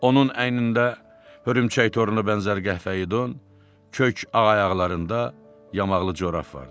Onun əynində hörümçək toruna bənzər qəhvəyi don, kök ağ ayaqlarında yamaqlı corab vardı.